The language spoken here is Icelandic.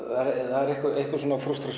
það er einhver frústrasjón